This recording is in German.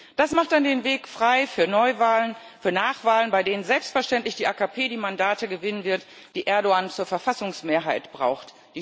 Das macht dann den Weg frei für Neuwahlen, für Nachwahlen, bei denen selbstverständlich die AKP die Mandate gewinnen wird, die Erdoğan zur Verfassungsmehrheit braucht.